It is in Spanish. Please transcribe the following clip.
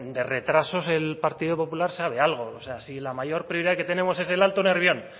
de retrasos el partido popular sabe algo o sea si la mayor prioridad que tenemos es el alto nervión